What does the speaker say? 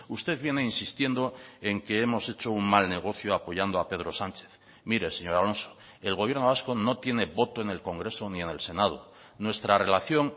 usted viene insistiendo en que hemos hecho un mal negocio apoyando a pedro sánchez mire señor alonso el gobierno vasco no tiene voto en el congreso ni en el senado nuestra relación